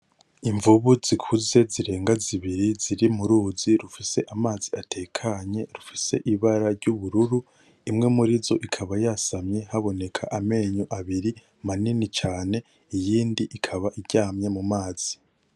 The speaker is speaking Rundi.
Imvubu zikuze zirenga zibiri, ziri muruzi rufise amazi atekanye, rufise ibara ryubururu. Imwe murizo ikaba yasamye haboneka amenyo abiri manini cane, iyindi ikaba iryamye mu mazi.